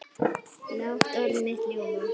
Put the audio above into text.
Lát orð mitt ljóma.